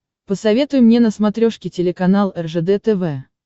посоветуй мне на смотрешке телеканал ржд тв